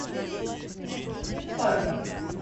фарго